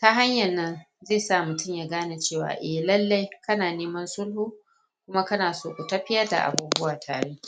ta hanyan nan zai sa mutum ya gane cewa eh lallai kana neman sulhu kuma kana so ku tafiƴar da abubuwa tare.